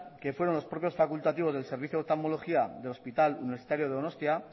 que fueron los propios facultativos del servicio de oftalmología del hospital universitario donostia